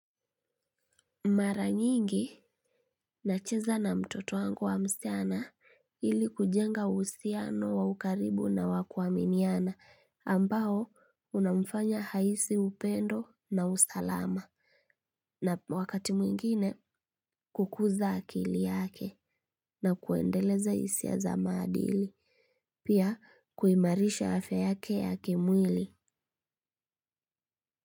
Mara nyingi nacheza na mtoto wangu wa msichana ili kujenga uhusiano wa ukaribu na wa ku aminiana ambao una mfanya ahisi upendo na usalama na wakati mwingine kukuza akili yake na kuendeleza hisia za maadili. Pia kuimarisha ayfya yake ya kimwili.